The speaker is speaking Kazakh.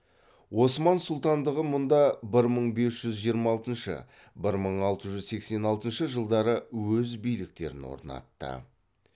осман сұлтандығы мұнда бір мың бес жүз жиырма алтыншы бір мың алты жүз сексен алтынш жылдары өз биліктерін орнатты